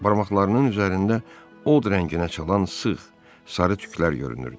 Barmaqlarının üzərində od rənginə çalan sıx, sarı tüklər görünürdü.